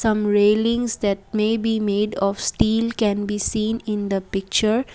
some railings that may be made of steel can be seen in the picture.